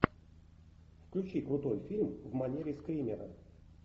включи крутой фильм в манере скримера